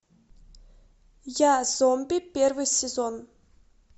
я зомби первый сезон